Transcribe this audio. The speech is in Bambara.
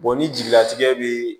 ni jigilatigɛ bɛ